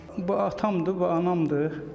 Bu atamdır, bu anamdır.